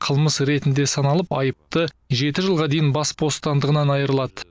қылмыс ретінде саналып айыпты жеті жылға дейін бас бостандығынан айырылады